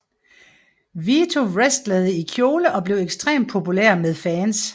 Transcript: Vito wrestlede i kjole og blev ekstremt populær med fans